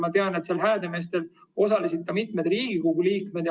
Ma tean, et Häädemeestel osalesid selles ka mitu Riigikogu liiget.